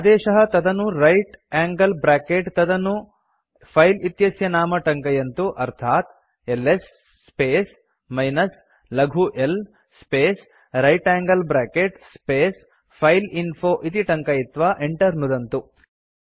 आदेशः तदनु right angle bracket तदनु फिले इत्यस्य नाम टङ्कयन्तु अर्थात् एलएस स्पेस् मिनस् लघु l space right angle bracket space file info इति टङ्कयित्वा enter नुदन्तु